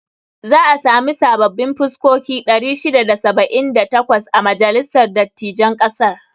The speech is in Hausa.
Za a sami sababbin fuskoki 678 a majalisar dattijain ƙasar.